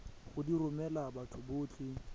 go di romela batho botlhe